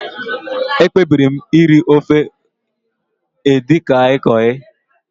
Ekpebiri m iri ofe Edikaikong gị